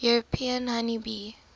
european honey bee